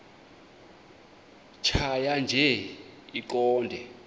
tjhaya nje iqondee